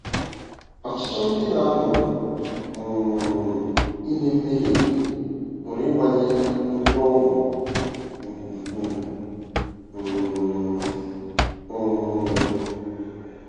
Ọchịchọ ndị na-amụ um ime mmehie pụrụ ịgbanye mkpọrọgwụ nke ukwuu um. um